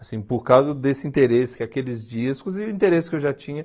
Assim, por causa desse interesse com aqueles discos e o interesse que eu já tinha.